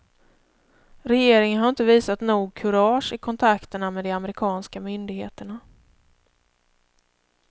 Regeringen har inte visat nog kurage i kontakterna med de amerikanska myndigheterna.